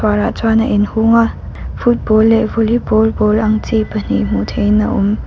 uar ah chuan a inhung a football leh volleyball ball ang chi pahnih hmuh theihin a awm.